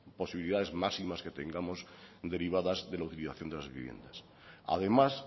posibilidades máximas que tengamos derivadas de la utilización de las viviendas además